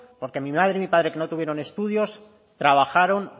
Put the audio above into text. porque mi madre y mi padre que no tuvieron estudios trabajaron